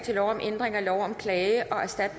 da